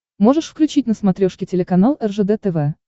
можешь включить на смотрешке телеканал ржд тв